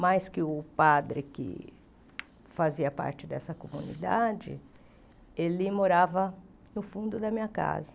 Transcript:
Mais que o padre que fazia parte dessa comunidade, ele morava no fundo da minha casa.